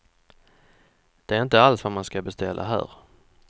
Det är inte alls vad man ska beställa här.